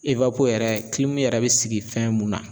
ewapo yɛrɛ kilimu yɛrɛ be sigi fɛn mun na